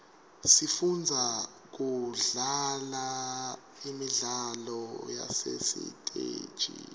sifunza kudlala imidlalo yasesiteji